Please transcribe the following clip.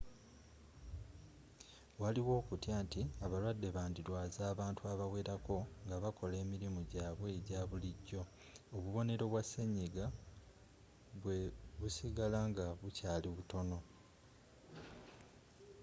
waliwo okutya nti abalwadde bandirwaza abantu abawerako nga bakola emirimu gyabwe egya bulijjo obubonero bwa senyiga bwe busigala nga bukyali butono